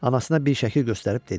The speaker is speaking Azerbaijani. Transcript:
Anasına bir şəkil göstərib dedi: